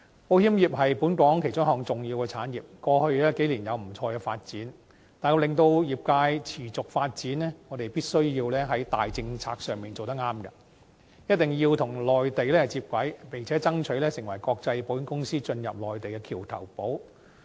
保險業是本港其中一項重要產業，過去數年有不錯的發展，但要令業界持續發展，我們必須在重大政策上做得對，一定要與內地接軌，並且爭取成為國際保險公司進入內地的橋頭堡。